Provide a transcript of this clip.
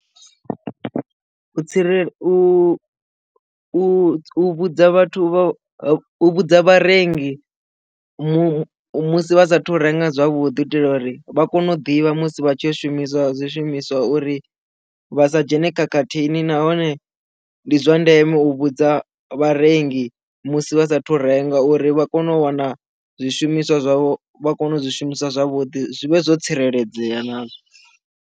U tsireledza u vhudza vhathu vha vhudza vharengi mu musi vha sa thu renga zwavhuḓi u itela uri vha kone u ḓivha musi vha tshi u shumisa zwishumiswa uri vha sa dzhene khakhathini nahone ndi zwa ndeme u vhudza vharengi musi vha sa thu renga uri vha kone u wana zwishumiswa zwavho vha kone u zwishumisa zwavhuḓi zwi vhe zwo tsireledzea nazwo.